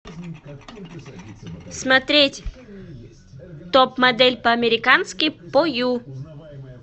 смотреть топ модель по американски по ю